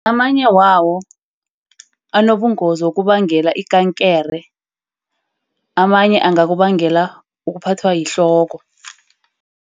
Amanye wawo anobungozi wokubangela ikankere. Amanye angakubangela ukuphathwa yihloko.